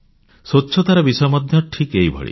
ସ୍ୱଚ୍ଛତାର ବିଷୟ ମଧ୍ୟ ଏହିଭଳି